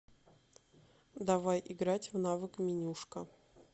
давай играть в навык менюшка